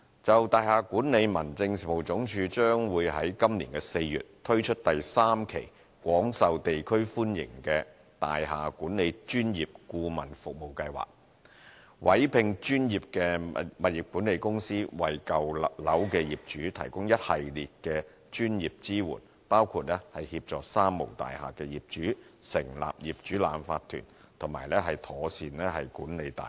就大廈管理而言，民政事務總署將在今年4月推出廣受地區歡迎的大廈管理專業顧問服務計劃的第三期，委聘專業物業管理公司，為舊樓的業主提供一系列專業支援，包括協助"三無大廈"業主成立業主立案法團及妥善管理大廈。